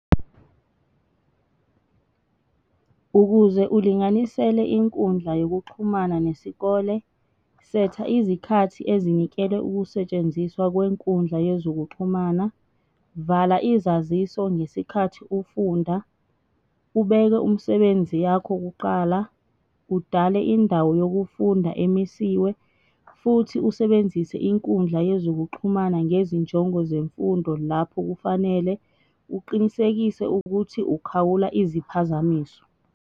Ukuze ulinganisele inkundla yokuxhumana nesikole, setha izikhathi ezinikelwe ukusetshenziswa kwenkundla yezokuxhumana, vala izaziso ngesikhathi ufunda, ubeke umsebenzi yakho kuqala, udale indawo yokufunda emisiwe, futhi usebenzise inkundla yezokuxhumana ngezinjongo zemfundo lapho kufanele, uqinisekise ukuthi ukhawula iziphazamiso.